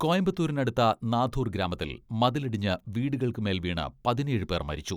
കോയമ്പത്തൂരിനടുത്ത നാഥൂർ ഗ്രാമത്തിൽ മതിലിടിഞ്ഞ് വീടുകൾക്കുമേൽ വീണ് പതിനേഴ് പേർ മരിച്ചു.